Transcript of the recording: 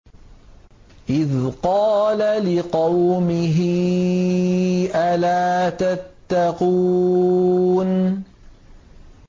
إِذْ قَالَ لِقَوْمِهِ أَلَا تَتَّقُونَ